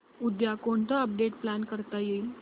उद्या कोणतं update plan करता येईल